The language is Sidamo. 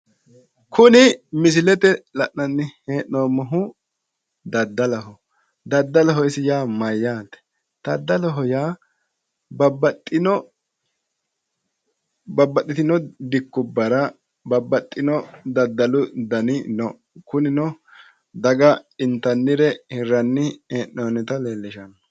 Kuni misilete la'nanni hee'noommohu daddaloho. Daddaloho isi yaa mayyaate? Daddaloho yaa babbaxxitino dikkubbara babbaxxino daddalu dani no. Kunino daga intannire hirranni hee'noonnita leellishanno.